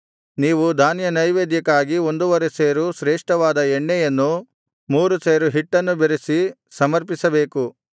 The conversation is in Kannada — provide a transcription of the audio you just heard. ನೀವು ಧಾನ್ಯನೈವೇದ್ಯಕ್ಕಾಗಿ ಒಂದುವರೆ ಸೇರು ಶ್ರೇಷ್ಠವಾದ ಎಣ್ಣೆಯನ್ನೂ ಮೂರು ಸೇರು ಹಿಟ್ಟನ್ನು ಬೆರೆಸಿ ಸಮರ್ಪಿಸಬೇಕು